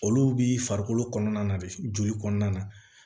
Olu bi farikolo kɔnɔna de joli kɔnɔna na